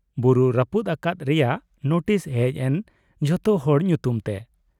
ᱵᱩᱨᱩ ᱨᱟᱹᱯᱩᱫ ᱟᱠᱟᱫ ᱨᱮᱭᱟᱜ ᱱᱳᱴᱤᱥ ᱦᱮᱡ ᱮᱱᱡᱷᱚᱛᱚ ᱦᱚᱲ ᱧᱩᱛᱩᱢ ᱛᱮ ᱾